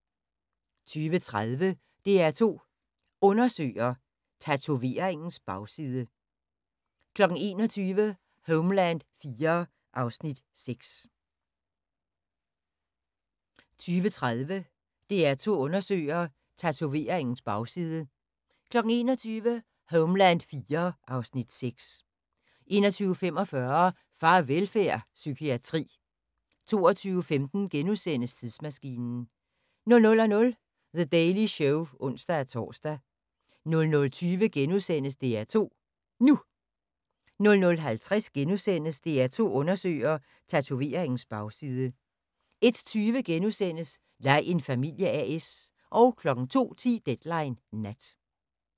20:30: DR2 Undersøger: Tatoveringens bagside 21:00: Homeland IV (Afs. 6) 21:45: Farvelfærd: Psykiatri 22:15: Tidsmaskinen * 00:00: The Daily Show (ons-tor) 00:20: DR2 NU * 00:50: DR2 Undersøger: Tatoveringens bagside * 01:20: Lej en familie A/S * 02:10: Deadline Nat